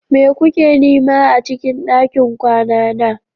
Me kuke nema a cikin ɗakin kwana na?